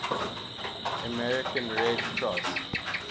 american red cross